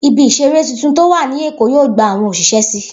Ibi ìseré tuntun tó wà ní Èkó yóò gba àwọn òṣìṣẹ́ si